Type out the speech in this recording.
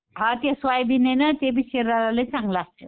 हां ते सोयाबीननं ते बी शरीरायाला लई चांगलं असतंय.